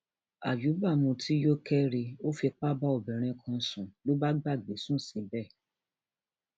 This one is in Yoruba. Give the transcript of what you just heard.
àyùbá mutí yó kẹri ó fipá bá obìnrin kan sùn ló bá gbàgbé sùn síbẹ